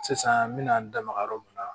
Sisan n bɛna n da maga yɔrɔ min na